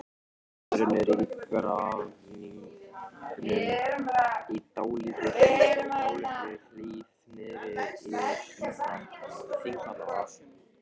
Sumarbústaðurinn er í Grafningnum, í dálítilli hlíð niðri við Þingvallavatn.